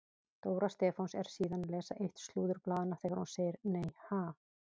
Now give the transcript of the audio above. Dóra Stefáns er síðan að lesa eitt slúðurblaðanna þegar hún segir: Nei ha?